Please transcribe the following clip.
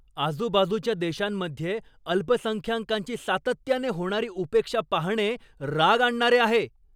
आजूबाजूच्या देशांमध्ये अल्पसंख्यांकांची सातत्याने होणारी उपेक्षा पाहणे राग आणणारे आहे.